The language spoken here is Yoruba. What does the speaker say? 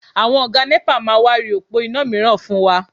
Àwọn Ọ̀gá nẹ́pà máa wá ri òpó iná mìíràn fún wa